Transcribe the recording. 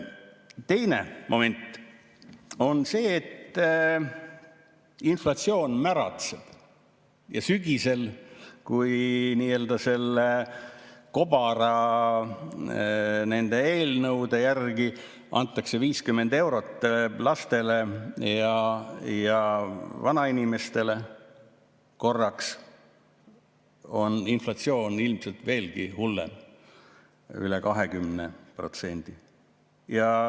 Teine moment on see, et inflatsioon märatseb ja sügisel, kui nii-öelda selle kobara, nende eelnõude järgi antakse korraks 50 eurot lastele ja vanainimestele, on inflatsioon ilmselt veelgi hullem, üle 20%.